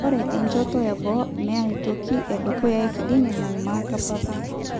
Ore enchoto e boo mee antoki edukuya e kidini naimaka Papa.